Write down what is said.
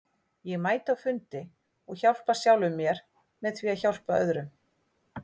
Ég mæti á fundi og hjálpa sjálfum mér með því að hjálpa öðrum.